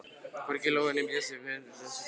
Hvorki Glói né Blesi eru með í þessari för.